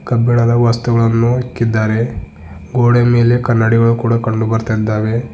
ಕಬ್ಬಿಣದ ವಸ್ತುಗಳನ್ನು ಇಕ್ಕಿದ್ದಾರೆ ಗೋಡೆ ಮೇಲೆ ಕನ್ನಡಿಗಳು ಕೂಡ ಕಂಡುಬರುತ್ತಿದ್ದಾವೆ.